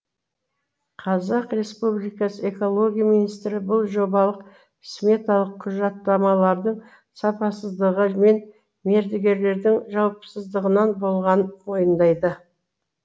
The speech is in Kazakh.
қазақстан республикасы экология министрі бұл жобалық сметалық құжаттамалардың сапасыздығы мен мердігерлердің жауапсыздығынан болғанын мойындайды